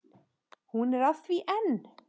Hún er að því enn!